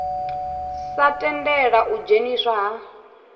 sa tendela u dzheniswa ha